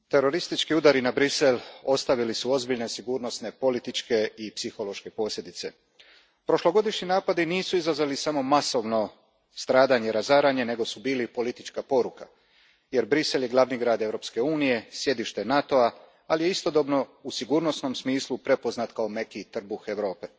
Gospodine predsjedniče, teroristički udari na Bruxelles ostavili su ozbiljne sigurnosne, političke i psihološke posljedice. Prošlogodišnji napadi nisu izazvali samo masovno stradanje i razaranje, nego su bili i politička poruka jer Bruxelles je glavni grad Europske unije, sjedište NATO a, ali je istodobno u sigurnosnom smislu prepoznat kao meki trbuh Europe.